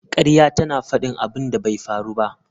Ƙarya tana faɗin abin da bai faru ba